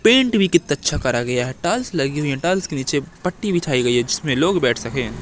Paint भी कितना अच्छा करा गया है टाइल्स लगी हुई हैं टाइल्स के नीचे पट्टी बिछाई गई है जिसमें लोग बैठ सके।